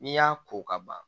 N'i y'a ko ka ban